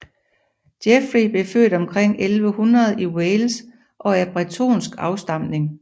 Geoffrey blev født omkring 1100 i Wales og af bretonsk afstamning